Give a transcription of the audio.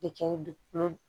De kɛ dugukolo